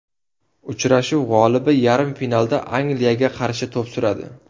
Uchrashuv g‘olibi yarim finalda Angliyaga qarshi to‘p suradi.